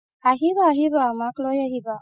আহিবা আহিবা মাক লৈ আহিবা